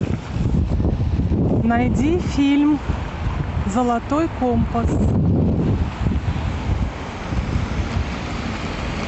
найди фильм золотой компас